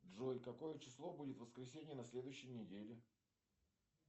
джой какое число будет воскресенье на следующей неделе